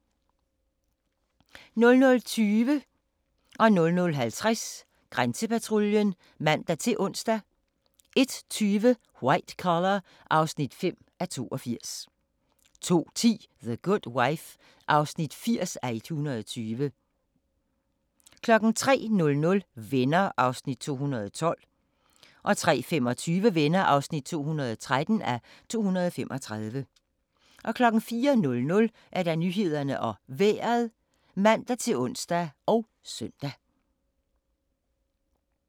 00:20: Grænsepatruljen (man-ons) 00:50: Grænsepatruljen (man-ons) 01:20: White Collar (5:82) 02:10: The Good Wife (80:120) 03:00: Venner (212:235) 03:25: Venner (213:235) 04:00: Nyhederne og Vejret (man-ons og søn)